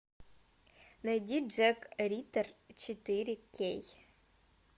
найди джек риттер четыре кей